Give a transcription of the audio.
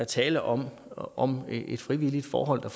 tale om om et frivilligt forhold